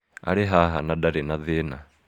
Arĩ haha, na ndarĩ na thĩna.